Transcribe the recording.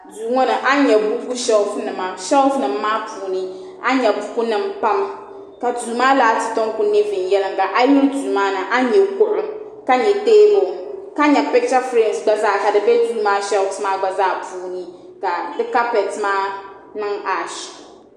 duu ŋɔ puuni a ni nyɛ buku sheelf nima sheelf nim maa puuni a ni nyɛ buku nima ka duu maa laati tom ku niɛ viɛnyɛlinga a yuli duu maa ni a ni nyɛ kuɣu ka nyɛ teebuli ka nyɛ picha fireems gba zaa ka di bɛ duu maa sheelf maa puuni ka di kapɛt maa niŋ ash